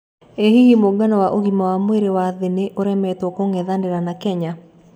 ĩ hihi mũngano wa ũgima wa mwĩrĩ wa thĩ nĩ ũremetwo kũng'ethanĩra na Kenya?